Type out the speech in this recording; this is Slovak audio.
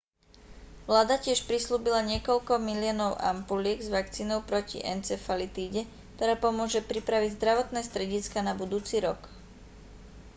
vláda tiež prisľúbila niekoľko miliónov ampuliek s vakcínou proti encefalitíde ktorá pomôže pripraviť zdravotné strediská na budúci rok